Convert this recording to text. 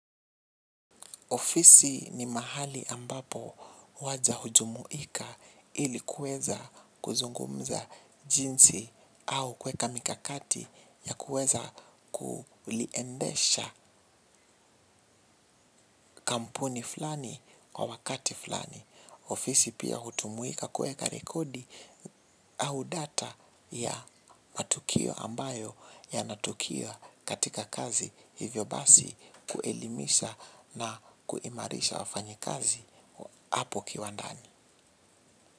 Ofisi ni mahali ambapo waja hujumuika ili kuweza kuzungumza jinsi au kuweka mikakati ya kweza kuliendesha kampuni fulani kwa wakati fulani. Ofisi pia hutumuika kweka rekodi au data ya matukio ambayo yanatukia katika kazi hivyo basi kuelimisha na kuimarisha wafanyi kazi. Apo kiwandani.